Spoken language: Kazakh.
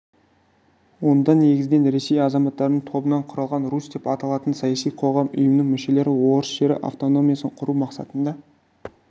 онда негізінен ресей азаматтарының тобынан құрылған русь деп аталатын саяси қоғам ұйымының мүшелері орыс жері автономиясын құру мақсатында